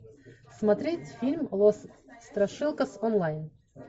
смотреть фильм лос страшилкас онлайн